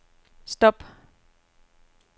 stop